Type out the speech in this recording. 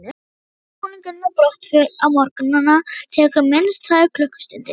Undirbúningur að brottför á morgnana tekur minnst tvær klukkustundir.